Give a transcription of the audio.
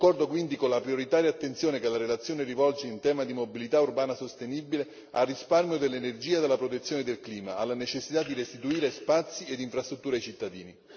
Concordo quindi con la prioritaria attenzione che la relazione rivolge in tema di mobilità urbana sostenibile al risparmio dell'energia della protezione del clima, alla necessità di restituire spazi ed infrastrutture ai cittadini.